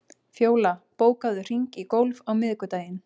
Fjóla, bókaðu hring í golf á miðvikudaginn.